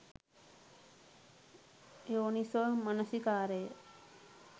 යෝනිසෝ මනසිකාරය